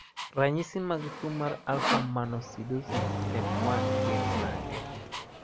Ranyisi mag tuo mar Alpha mannosidosis type 1 gin mage?